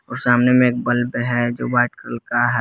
और सामने में एक बल्ब है जो वाइट कलर का है।